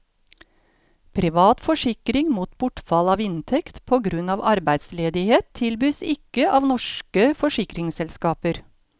Privat forsikring mot bortfall av inntekt på grunn av arbeidsledighet tilbys ikke av norske forsikringsselskaper.